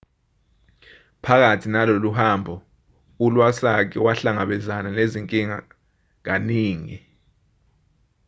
phakathi naloluhambo u-iwasaki wahlangabezana nezinkinga kaningi